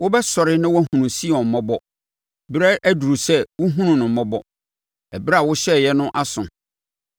Wobɛsɔre na woahunu Sion mmɔbɔ; berɛ aduru sɛ wohunu no mmɔbɔ; ɛberɛ a wohyɛeɛ no aso.